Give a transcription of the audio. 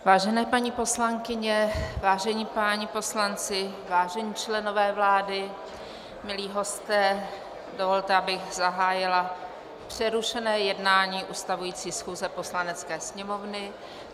Vážené paní poslankyně, vážení páni poslanci, vážení členové vlády, milí hosté, dovolte, abych zahájila přerušené jednání ustavující schůze Poslanecké sněmovny.